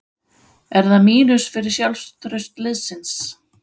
Er það mínus fyrir sjálfstraust liðsins?